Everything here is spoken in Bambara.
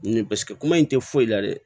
Ni paseke kuma in tɛ foyi la dɛ